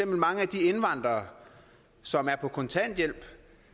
mange af de indvandrere som er på kontanthjælp